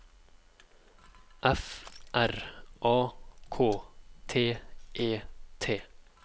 F R A K T E T